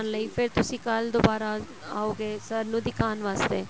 ਲਈ ਫੇਰ ਤੁਸੀਂ ਕੱਲ ਦੁਬਾਰਾ ਆਓਗੇ sir ਨੂੰ ਦਿਖਾਉਣ ਵਾਸਤੇ